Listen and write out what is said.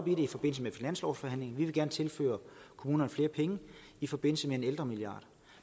i forbindelse med finanslovsforhandlingerne vi vil gerne tilføre kommunerne flere penge i forbindelse med en ældremilliard